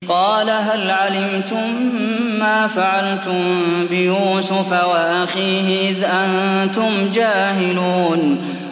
قَالَ هَلْ عَلِمْتُم مَّا فَعَلْتُم بِيُوسُفَ وَأَخِيهِ إِذْ أَنتُمْ جَاهِلُونَ